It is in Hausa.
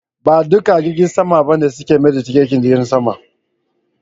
Ba dukan jirgin sama ba ne suke mayar da tikitin jirgin sama.